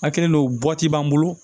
A kɛlen don bɔti b'an bolo